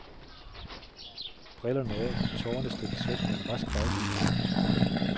Brillerne af, tårerne strittes væk med en rask baghånd.